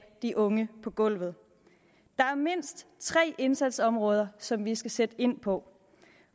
de unge på gulvet der er mindst tre indsatsområder som vi skal sætte ind på